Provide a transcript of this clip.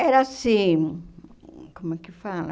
Era assim... Como é que fala?